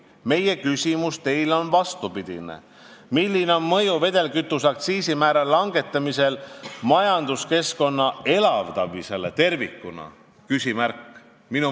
Meie küsimus Teile on vastupidine: milline on mõju vedelkütuse aktsiisi määra langetamisel majanduskeskkonna elavdamisele tervikuna?